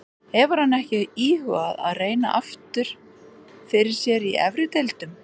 Hefur hann ekki íhugað að reyna aftur fyrir sér í efri deildum?